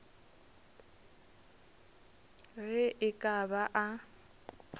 ge e ka ba a